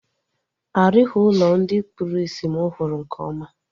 A rughi ụlọ ndị kpụrụ isi mụ hụrụ nke ọma